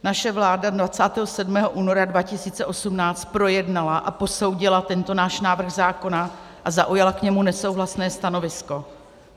Naše vláda 27. února 2018 projednala a posoudila tento náš návrh zákona a zaujala k němu nesouhlasné stanovisko.